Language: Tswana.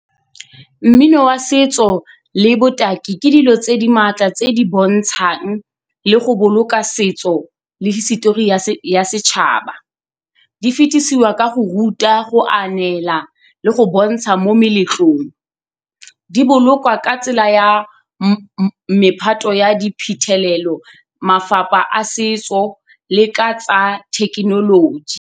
Mmino wa setso le botaki ke dilo tse di maatla tse di bontshang le go boloka setso le hisitori ya setšhaba, di fetisiwa ka go ruta go a neela le go bontsha mo meletlong, di bolokwa ka tsela ya mephato ya diphuthelelo mafapha a setso le ka tsa thekenoloji.